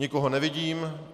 Nikoho nevidím.